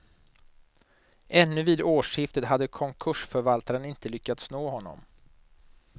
Ännu vid årsskiftet hade konkursförvaltaren inte lyckats nå honom.